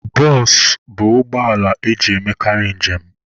Bụsụ bụ ụgbọala eji emekarị njem.